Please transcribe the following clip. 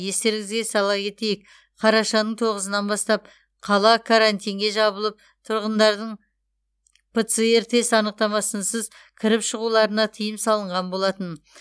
естеріңізге сала кетейік қарашаның тоғызынан бастап қала карантинге жабылып тұрғындардың пцр тест анықтамасынсыз кіріп шығуларына тыйым салынған болатын